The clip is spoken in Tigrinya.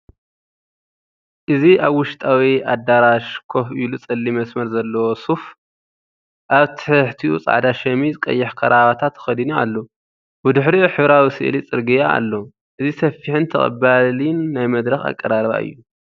እዚ ኣብ ውሽጣዊ ኣዳራሽ ኮፍ ኢሉ ጸሊም መስመር ዘለዎ ሶፍ፡ ኣብ ትሕቲኡ ጻዕዳ ሸሚዝ፡ ቀይሕ ክራቫታ ተኸዲኑ ኣሎ። ብድሕሪኡ ሕብራዊ ስእሊ ጽርግያ ኣሎ። እዚ ሰፊሕን ተቐባሊን ናይ መድረኽ ኣቀራርባ እዩ።